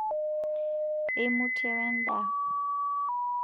eimutie we endaa